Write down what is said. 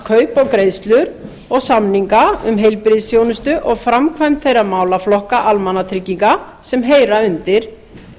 annast kaup greiðslur og samninga um heilbrigðisþjónustu og framkvæmd þeirra málaflokka almannatrygginga sem heyra undir